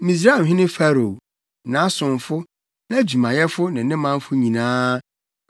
Misraimhene Farao, nʼasomfo, nʼadwumayɛfo ne ne manfo nyinaa,